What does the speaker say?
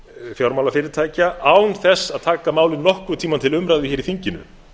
fjármálafyrirtækja án þess að taka málið nokkurn tímann til umræðu í þinginu